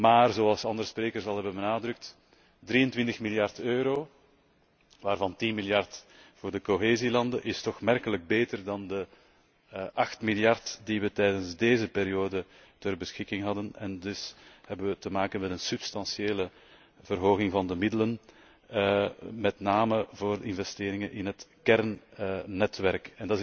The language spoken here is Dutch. Maar zoals andere sprekers al hebben benadrukt 23 miljard euro, waarvan 10 miljard voor de cohesielanden is toch aanmerkelijk beter dan de acht miljard die we tijdens deze periode ter beschikking hadden en dus hebben we te maken met een substantiële verhoging van de middelen, met name voor investeringen in het kernnetwerk.